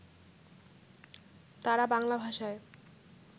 তাঁরা বাংলা ভাষায়